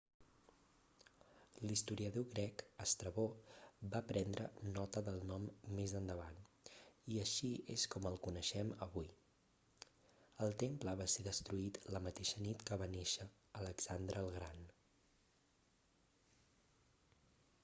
l'historiador grec estrabó va prendre nota del nom més endavant i així és com el coneixem avui el temple va ser destruït la mateixa nit que va néixer alexandre el gran